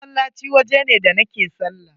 Masallaci waje ne da nake sallah.